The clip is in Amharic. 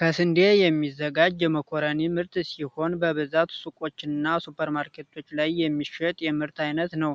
ከስንዴ የሚዘጋጅ የመኮረኒ ምርት ሲሆን በብዛት ሱቆችና ሱፐርማርኬቶች ላይ የሚሸጥ የምርት አይነት ነው።